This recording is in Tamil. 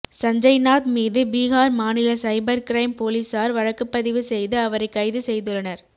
சஞ்சய்நாத் மீது பீகார் மாநில சைபர் கிரைம் போலீசார் வழக்குப்பதிவு செய்து அவரைக் கைது செய்துள்ளனர்